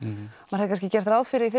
maður hefði gert ráð fyrir því